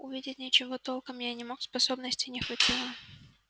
увидеть ничего толком я не смог способностей не хватало